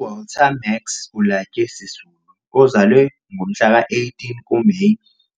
UWalter Max Ulyate Sisulu ozalwe ngomhla ka-18 kuMeyi